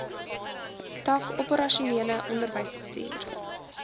tak operasionele onderwysbestuur